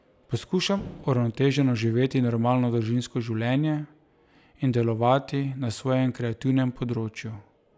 Poskušam uravnoteženo živeti normalno družinsko življenje in delovati na svojem kreativnem področju.